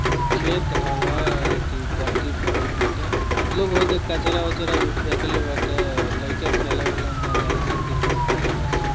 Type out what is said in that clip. ई खेत हवे एथी पर्ति परल बाटे लोग कचरा उचरा भी फेकले बाटे लइका खेले-उले ऊहा जाले सं क्रिकेट खेले ले सं।